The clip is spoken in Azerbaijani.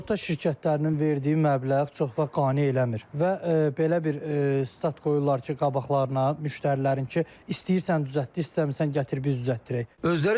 Sığorta şirkətlərinin verdiyi məbləğ çox vaxt qane eləmir və belə bir stat qoyurlar ki, qabaqlarına müştərilərin ki, istəyirsən düzəltdi, istəmirsiniz gətir biz düzəltdirək.